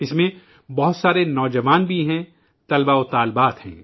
ان میں بہت سارے نوجوان بھی ہیں، طلبا اور طالبات بھی ہیں